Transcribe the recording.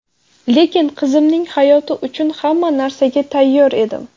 Lekin qizimning hayoti uchun hamma narsaga tayyor edim.